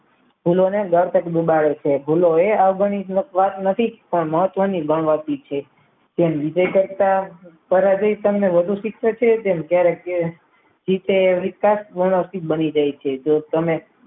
ભૂલોને મરતક દુબાળે છે ભૂલો હોય ભૂલોએ અવગણિત વાત નથી પણ મહત્વની પ્રગતિ છે. તેમ બીજે કરતા સરળ રીતે વધુ શિક્ષિત છે તેમ ક્યારેક બની જાય છે જો તમે